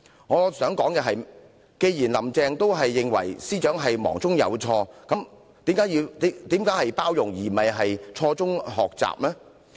我想說的是，既然"林鄭"也認為司長是忙中有錯，那為甚麼要包容她，而不是讓她從錯誤中學習？